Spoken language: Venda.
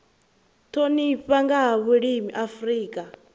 thomiwa nga ha vhulimi afrika